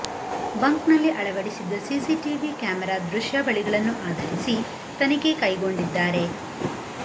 ಬಂಕ್ನಲ್ಲಿ ಅಳವಡಿಸಿದ್ದ CC TV camera ದೃಶ್ಯಾವಳಿಗಳನ್ನು ಆಧರಿಸಿ ತನಿಖೆ ಕೈಗೊಂಡಿದ್ದಾರೆ